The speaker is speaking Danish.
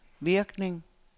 virkning